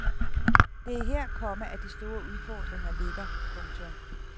Det er her, komma at de store udfordringer ligger. punktum